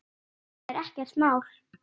Ég trúði ekki sjálfum mér.